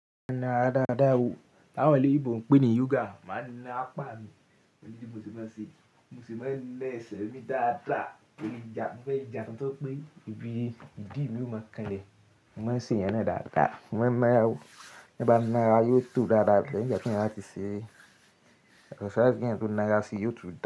Na daadaa o, á wà lóyinbọ n pé ni yoga máa na pá ni, mo ní bí mo ṣe máa n ṣe, mo sì máa ń naa ẹ́sẹ̀ mi dáadáa, tori n ja, mi fẹ́ ja n tó pé ibi ìdí mi lò máa kanlẹ̀. Mo máa ń ṣe ìyẹn náà dáadáa, mo máa n ńa ra o, tí n bá ń na ara yóò tó dáadáa, ko need ki eeyan máa ti ṣe exercise kí eeyan tó na ara ṣi yóò tu.